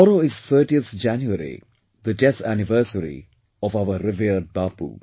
Tomorrow is 30th January, the death anniversary of our revered Bapu